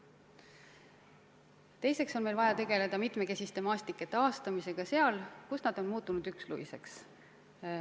Teiseks on meil vaja tegeleda mitmekesiste maastike taastamisega kohtades, kus need on muutunud üksluiseks.